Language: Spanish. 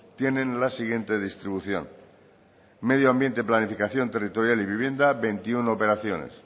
tienen la siguiente distribución medio ambiente planificación territorial y vivienda veintiuno operaciones